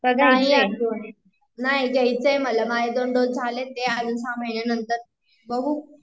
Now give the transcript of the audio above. नाही घ्यायचाय मला माझे २ डोस झालेत अजून सहा महिन्यांनंतर बघू